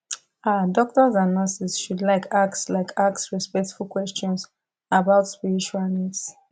ah doctors and nurses should like ask like ask respectful questions about spiritual needs